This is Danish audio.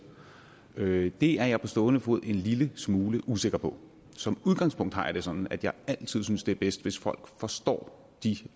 det er jeg på stående fod en lille smule usikker på som udgangspunkt har jeg det sådan at jeg altid synes det er bedst hvis folk forstår de